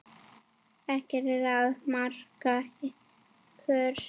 Ekkert er að marka ykkur.